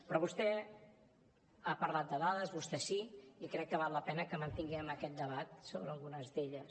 però vostè ha parlat de dades vostè sí i crec que val la pena que mantinguem aquest debat sobre algunes d’elles